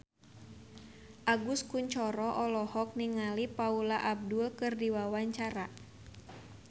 Agus Kuncoro olohok ningali Paula Abdul keur diwawancara